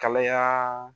Kalaya